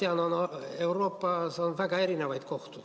Ma tean, et Euroopas on väga erinevaid kohtuid.